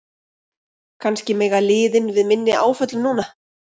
Kannski mega liðin við minni áföllum núna?